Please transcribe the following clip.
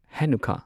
Hanukkah